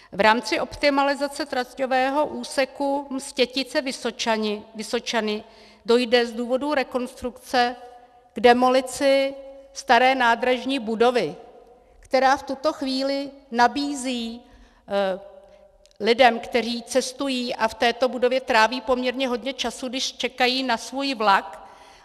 V rámci optimalizace traťového úseku Mstětice-Vysočany dojde z důvodu rekonstrukce k demolici staré nádražní budovy, která v tuto chvíli nabízí lidem, kteří cestují a v této budově tráví poměrně hodně času, když čekají na svůj vlak.